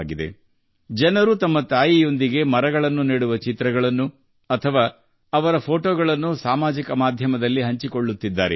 ಸಾಮಾಜಿಕ ಮಾಧ್ಯಮದಲ್ಲಿ ಜನರು ತಮ್ಮ ತಾಯಂದಿರೊಂದಿಗೆ ಅಥವಾ ಅವರ ಫೋಟೊಗಳೊಂದಿಗೆ ಸಸಿಗಳನ್ನು ನೆಡುವ ಚಿತ್ರಗಳನ್ನು ಹಂಚಿಕೊಳ್ಳುತ್ತಿದ್ದಾರೆ